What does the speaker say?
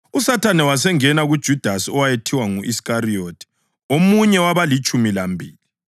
USathane wasengena kuJudasi owayethiwa ngu-Iskariyothi, omunye wabalitshumi lambili.